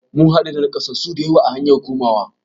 Mun haɗu da nakasassu dayawa a hanyar komawa